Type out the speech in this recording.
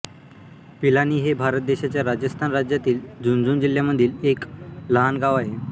पिलानी हे भारत देशाच्या राजस्थान राज्यातील झुनझुनू जिल्ह्यामधील एक लहान गाव आहे